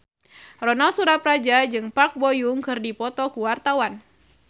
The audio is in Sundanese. Ronal Surapradja jeung Park Bo Yung keur dipoto ku wartawan